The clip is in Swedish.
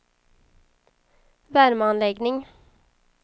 värmeanläggning